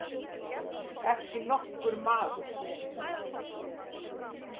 Ekki nokkur maður.